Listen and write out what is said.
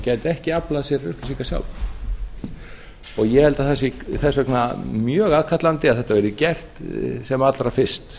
gæti ekki aflað sér upplýsinga sjálf ég held að það sé þess vegna mjög aðkallandi að þetta verði gert sem allra fyrst